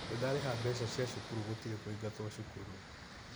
Nĩndarĩha mbeca cia cukuru gũtirĩ kũingatwo cukuru.